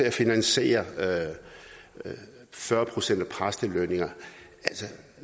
at finansiere fyrre procent af præstelønningerne